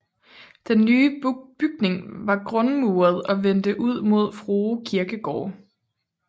Den nye bygning var grundmuret og vendte ud mod Frue kirkegård